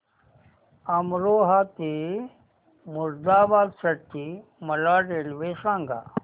अमरोहा ते मुरादाबाद साठी मला रेल्वे सांगा